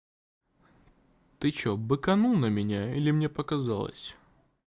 ты что быканул на меня или мне показалось